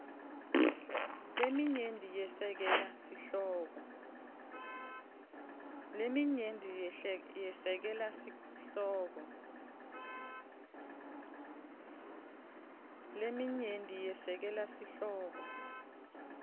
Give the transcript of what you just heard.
leminyenti yesekela sihloko